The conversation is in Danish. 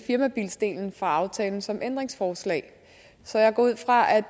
firmabiler fra aftalen som ændringsforslag så jeg går ud fra at